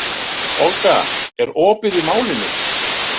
Olga, er opið í Málinu?